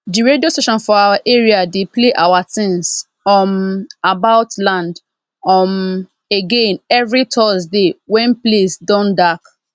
de radio station for our area dey play our tins um about land um again everi thursday wen place don dark